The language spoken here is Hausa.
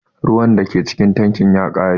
Ruwan da ke cikin tankin ya ƙare.